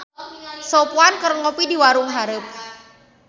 Sopwan keur ngopi di warung hareup